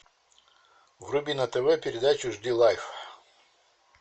вруби на тв передачу жди лайф